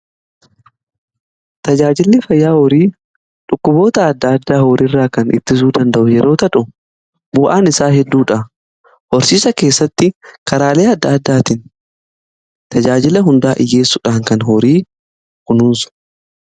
Tajaajilli fayyaa horii dhukkuboota adda addaa horii irraa kan ittisuu danda'u yeroo ta'u, bu'aan isaa hedduudha. Horsiisa keessatti karaalee adda addaatiin tajaajila hundaa dhiyyeessuudhaan kan horii kunuunsudha.